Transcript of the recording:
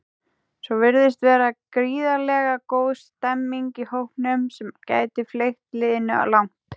Svo virðist vera gríðarlega góð stemmning í hópnum sem gæti fleygt liðinu langt.